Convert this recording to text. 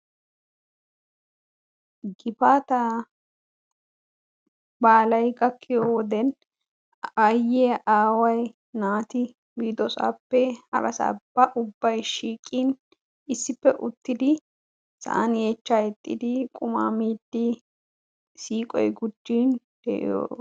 Gifaataa badalayi gakkiyo wodiyan aayyiya, aaway, naati biidosaappe harasaappe ubbayi shiiqin issippe uttidi sa'an yeechchaa hiixxidi qumaa miiddi siiqoyi gujjin diyo.....